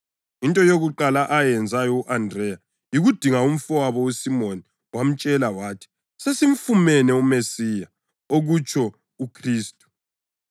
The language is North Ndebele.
Into yokuqala ayenzayo u-Andreya yikudinga umfowabo uSimoni wamtshela wathi, “Sesimfumene uMesiya” (okutsho uKhristu).